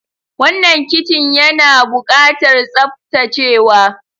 Wannan kicin yana ɓukatar tsaftacewa.